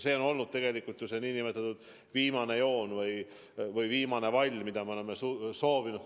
See on olnud tegelikult see nn viimane piir või viimane vall, mida me oleme kogu aeg silmas pidanud.